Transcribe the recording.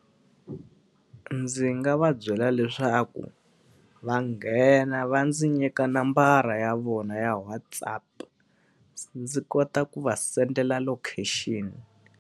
Ndzi nga va byela leswaku va nghena, va ndzi nyika nambara ya vona ya WhatsApp, ndzi kota ku va send-ela location.